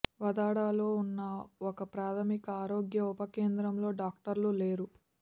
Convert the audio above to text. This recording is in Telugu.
వాదాడలో ఉన్న ఒక ప్రాథమిక ఆరోగ్య ఉప కేంద్రంలో డాక్టర్లు లేరు